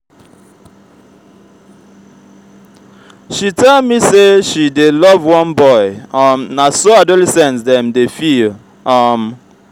she tell me sey she dey love one boy um na so adolescent dem dey feel. um